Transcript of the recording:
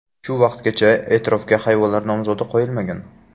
Shu vaqtgacha e’tirofga hayvonlar nomzodi qo‘yilmagan.